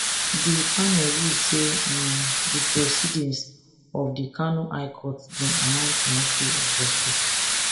di panel rule say um di proceedings of di kano high court bin amount to mockery of justice